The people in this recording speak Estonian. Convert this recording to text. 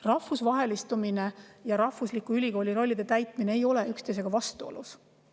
Rahvusvahelistumine ja rahvusliku ülikooli rollide täitmine ei ole üksteisega vastuolus.